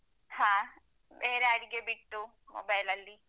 ಹಾ ಬೇರೆ ಅಡಿಗೆ ಬಿಟ್ಟು mobile ಲಲ್ಲಿ.